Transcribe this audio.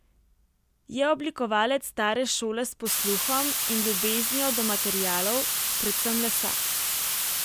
Je oblikovalec stare šole s posluhom in ljubeznijo do materialov, predvsem lesa.